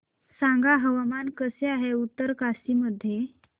सांगा हवामान कसे आहे उत्तरकाशी मध्ये